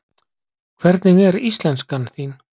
Hvernig er íslenskan þín?